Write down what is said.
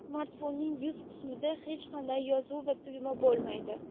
Smartfonning yuz qismida hech qanday yozuv va tugma bo‘lmaydi.